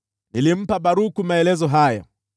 “Nilimpa Baruku maelezo haya mbele yao: